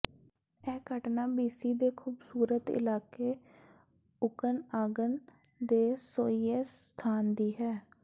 ਇਹ ਘਟਨਾ B C ਦੇ ਖ਼ੂਬਸੂਰਤ ਇਲਾਕੇ ਓਕਨਆਗਨ ਦੇ ਸੋਈਐਸ ਸਥਾਨ ਦੀ ਹੈ